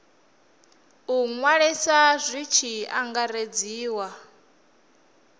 u ṅwaliswa hu tshi angaredzwa